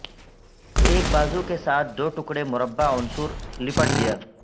ایک بازو کے ساتھ دو ٹکڑے مربع عنصر لپٹ گیا